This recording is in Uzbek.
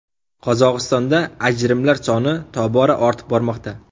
Qozog‘istonda ajrimlar soni tobora ortib bormoqda.